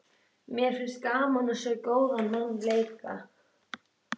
Mér finnst gaman að sjá góðan mann leika.